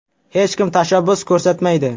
Hech kim tashabbus ko‘rsatmaydi.